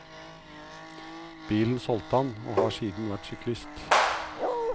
Bilen solgte han, og har siden vært syklist.